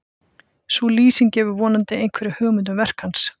Sú lýsing gefur vonandi einhverja hugmynd um verk hans.